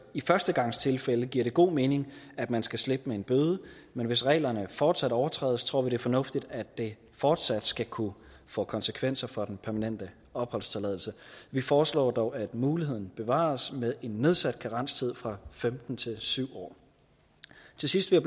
i førstegangstilfælde giver det god mening at man skal slippe med en bøde men hvis reglerne fortsat overtrædes tror vi det er fornuftigt at det fortsat skal kunne få konsekvenser for den permanente opholdstilladelse vi foreslår dog at muligheden bevares med en nedsat karenstid fra femten til syv år til sidst vil